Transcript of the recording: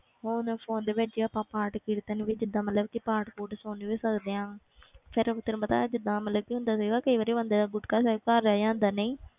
ਹੁਣ phone ਦੇ ਵਿੱਚ ਆਪਾਂ ਪਾਠ ਕੀਰਤਨ ਵੀ ਜਿੱਦਾਂ ਮਤਲਬ ਕਿ ਪਾਠ ਪੂਠ ਸੁਣ ਵੀ ਸਕਦੇ ਹਾਂ ਫਿਰ ਤੈਨੂੰ ਪਤਾ ਹੈ ਜਿੱਦਾਂ ਮਤਲਬ ਕੀ ਹੁੰਦਾ ਸੀਗਾ ਕਈ ਵਾਰੀ ਬੰਦੇ ਦਾ ਗੁਟਕਾ ਸਾਹਿਬ ਘਰ ਰਹਿ ਜਾਂਦਾ ਨਹੀਂ,